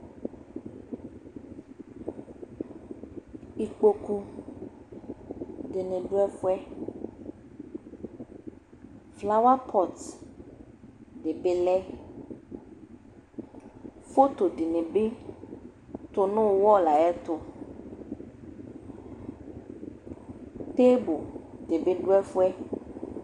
Ikpoku dini du ɛfuɛ flawa kɔt dibi lɛ foto dinibi kɔ nu wɔlu yɛ tu tibu dibi du ɛfuɛ